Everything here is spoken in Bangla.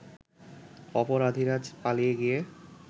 অপরাধীরা পালিয়ে গিয়ে